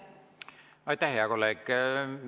Aitäh, hea kolleeg!